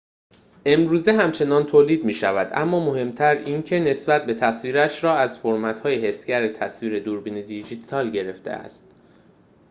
امروزه همچنان تولید می‌شود اما مهم‌تر این که نسبت تصویرش را از فرمت‌های حسگر تصویر دوربین دیجیتال گرفته است